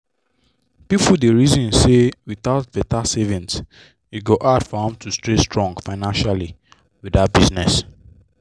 people dey reason say without better savings e go hard for am to stay strong financially with that business.